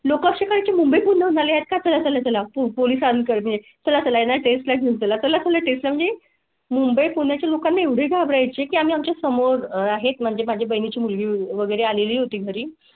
लोकशाही ची मुंबईपुण्यात. कशा ला पोलिसांनी कर मी तुला टेस्ट घेण्यात आला त्यामुळे. मुंबई पुण्या च्या लोकांना एवढे घाबरायचे की आमच्या समोर आहेत म्हणजे माझ्या बहिणी ची मुलगी वगैरे. आलेली होती घरी.